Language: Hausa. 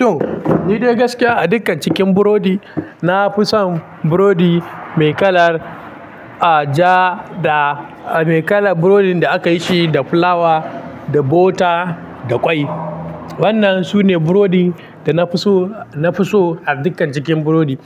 To, ni dai gaskiya a dukkan cikin burodi, na fi son burodi mai kalar, ah, ja da, ah, mai kalar burodin da aka yi shi da fulawa, da bota, da ƙwai. Wannan su ne burodin da na fi so, na fi so a dukkan cikin burodi.